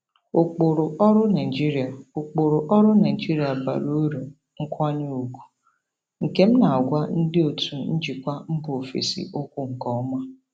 Ụkpụrụ ọrụ Naijiria Ụkpụrụ ọrụ Naijiria bara uru nkwanye ùgwù, nke m na-agwa ndị otu njikwa mba ofesi okwu nke ọma.